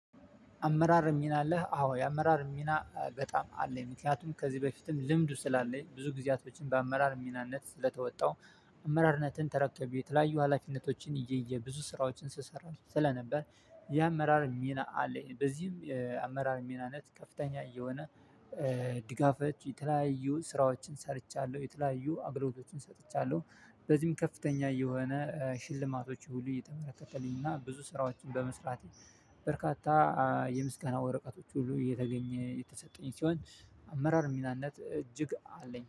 አመራር ሚና አለህ? አዎ የአመራር ሚና በጣም አለኝ። ምክንያቱም ከዚህ በፊትም ልምዱ ስላለኝ ብዙ ጊዜያቶችን በአመራር ሚናነት ስለተወጣው አመራርነትን ተረክቤ የተለያዩ ሀላፊነቶችን ይዤ ብዙ ስራዎችን ስሰራ ስለነበር የአመራር ሚና አለኝ። በዚህም አመራር ሚናነት ከፍተኛ እየሆነ ድጋፎች የተለያዩ ስራዎችን ሰርቻለሁ፤ የተለያዩ አግሎቶችን ሰጥቻለሁ። በዚህም ከፍተኛ የሆነ ሽልማቶች ሁሉ እየተበረከተልኝና ብዙ ስራዎችን በመስራት በርካታ የምስጋና ወረቀቶች ሁሉ እየተገኘ የተሰጡኝ ሲሆን አመራር ሚናነት እጅግ አለኝ።